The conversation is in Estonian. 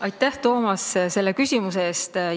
Aitäh, Toomas, selle küsimuse eest!